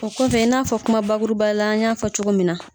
O kɔfɛ i n'a fɔ kuma bakuruba la, n y'a fɔ cogo min na.